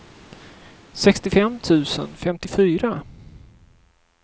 sextiofem tusen femtiofyra